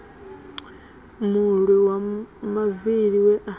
mulwi wa mavili we a